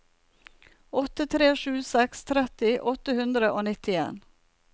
åtte tre sju seks tretti åtte hundre og nittien